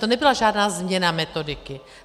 To nebyla žádná změna metodiky.